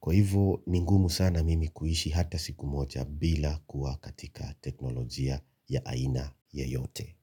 kwa hivyo ni ngumu sana mimi kuishi hata siku moja bila kuwa katika teknolojia ya aina yeyote.